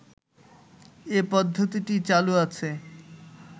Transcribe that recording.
এ পদ্ধতিটি চালু আছে